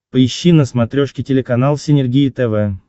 поищи на смотрешке телеканал синергия тв